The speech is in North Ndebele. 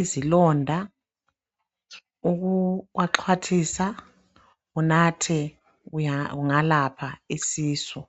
izilonda, ukuwaxhwathisa unathe kungalapha isisu.